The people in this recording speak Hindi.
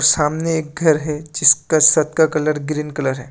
सामने एक घर है जिसका शत का कलर ग्रीन कलर है।